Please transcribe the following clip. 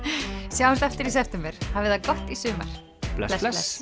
sjáumst aftur í september hafið það gott í sumar bless bless